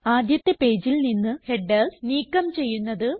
ആദ്യത്തെ പേജിൽ നിന്ന് ഹെഡർസ് നീക്കം ചെയ്യുന്നത്